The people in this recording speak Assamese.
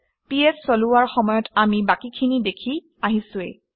পিএছ চলোৱাৰ সময়ত আমি বাকীখিনি দেখি আহিছোঁৱেই